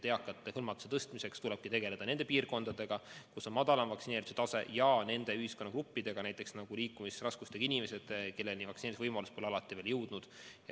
Eakate hõlmatuse tõstmiseks tulebki tegeleda nende piirkondadega, kus on madalam vaktsineerituse tase, ja selliste ühiskonnagruppidega nagu näiteks liikumisraskustega inimesed, kellest paljudeni vaktsineerimisvõimalus pole veel jõudnud.